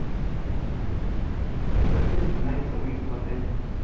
со скольки начинается выезд в отеле